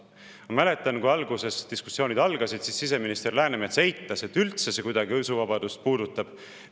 Ma mäletan, kui alguses diskussioonid algasid, siis siseminister Läänemets eitas, et see kuidagi usuvabadust puudutab.